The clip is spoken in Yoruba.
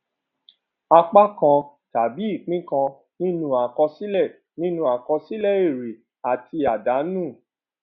apá kan tàbí ìpín kan nínú àkọsílẹ nínú àkọsílẹ èrè àti àdánù